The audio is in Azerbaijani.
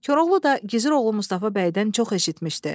Koroğlu da Gizir oğlu Mustafa bəydən çox eşitmişdi.